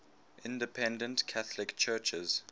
independent catholic churches